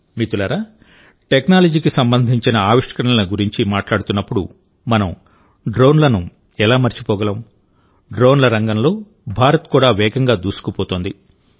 మిత్రులారాటెక్నాలజీకి సంబంధించిన ఆవిష్కరణల గురించి మాట్లాడుతున్నప్పుడుమనం డ్రోన్లను ఎలా మరచిపోగలం డ్రోన్ల రంగంలో భారత్ కూడా వేగంగా దూసుకుపోతోంది